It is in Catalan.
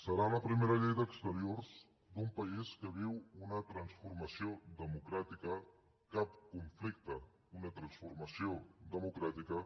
serà la primera llei d’exteriors d’un país que viu una transformació democràtica cap conflicte una transformació democràtica